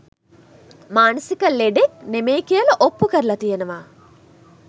මානසික ලෙඩක් නෙමෙයි කියල ඔප්පු කරලා තියෙනවා